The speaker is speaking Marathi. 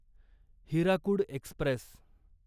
हिराकूड एक्स्प्रेस